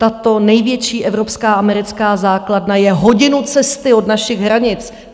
Tato největší evropská americká základna je hodinu cesty od našich hranic.